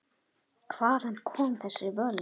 Hvaðan koma þessi völd?